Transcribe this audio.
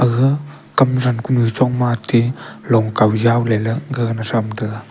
aga kamthan kunu chong ma ate long kaw jawle le gagan tham tega.